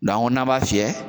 n'a b'a fiyɛ